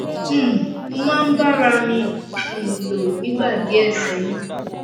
um mo máa ń bá ara à mi um lò nígbà díẹ̀ sẹ́yìn